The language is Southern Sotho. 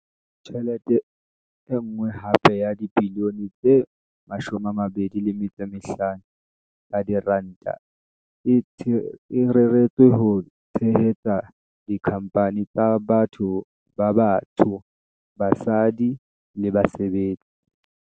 Tjhelete e nngwe hape ya dibilione tse 25 tsa diranta e reretswe ho tshehetsa dikhampani tsa batho ba batsho, basadi le basebetsi.